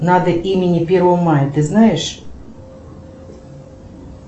надо имени первого мая ты знаешь